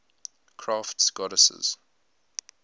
crafts goddesses